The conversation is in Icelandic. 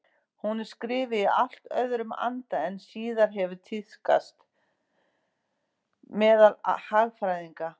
Hún er skrifuð í allt öðrum anda en síðar hefur tíðkast meðal hagfræðinga.